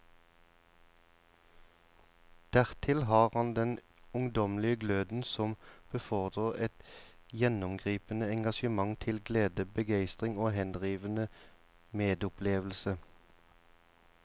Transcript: Dertil har han den ungdommelige gløden som befordrer et gjennomgripende engasjement til glede, begeistring og henrivende medopplevelse.